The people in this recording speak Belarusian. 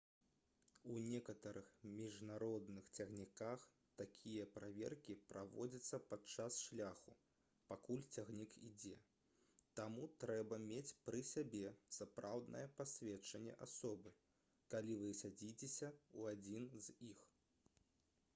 у некаторых міжнародных цягніках такія праверкі праводзяцца падчас шляху пакуль цягнік ідзе таму трэба мець пры сабе сапраўднае пасведчанне асобы калі вы садзіцеся ў адзін з іх